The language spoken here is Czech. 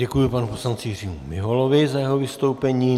Děkuji panu poslanci Jiřímu Miholovi za jeho vystoupení.